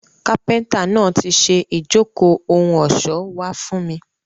Kápíntà náà ti ṣe ijoko ohun ọṣọ wa fun mi.